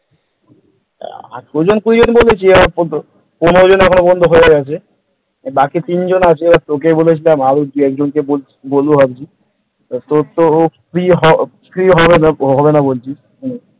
আঠেরো জন কুড়িজন বলতে কি আর ওই পনেরো জন এখনো পর্যন্ত হয়ে গেছে বাকি তিনজন আছে ওই তোকে বলেছিলাম আর বাকি দুজনকে বলব আর কি তোর তো ফ্রি হবে ফ্রি হবে না হবে না বলছিস ।